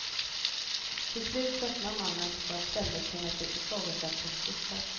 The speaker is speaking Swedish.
Till slut tröttnar mannen på att ständigt känna sig ifrågasatt och flyttar.